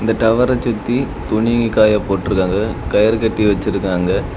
இந்த டவர்ர சுத்தி துணி காய போட்ருக்காங்க கயறு கட்டி வெச்சுருக்காங்க.